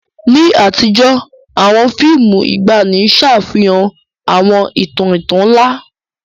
Ní àtijọ́, àwọn fíìmù ìgbàanì ṣàfihàn àwọn ìtàn ìtàn ńlá.